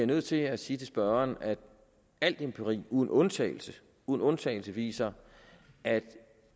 nødt til at sige til spørgeren at al empiri uden undtagelse uden undtagelse viser at